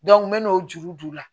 n men'o juru d'u ma